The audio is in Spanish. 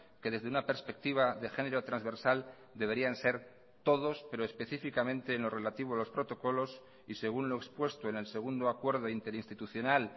que desde una perspectiva de género transversal deberían ser todos pero específicamente en lo relativo a los protocolos y según lo expuesto en el segundo acuerdo interinstitucional